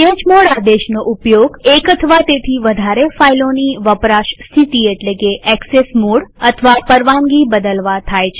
chmod આદેશનો ઉપયોગ એક અથવા તેથી વધારે ફાઈલોની વપરાશ સ્થિતિ એટલે કે એક્સેસ મોડ અથવા પરવાનગી બદલવા થાય છે